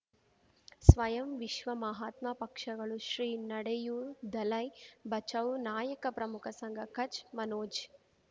ಸ್ವಯಂ ವಿಶ್ವ ಮಹಾತ್ಮ ಪಕ್ಷಗಳು ಶ್ರೀ ನಡೆಯೂ ದಲೈ ಬಚೌ ನಾಯಕ ಪ್ರಮುಖ ಸಂಘ ಕಚ್ ಮನೋಜ್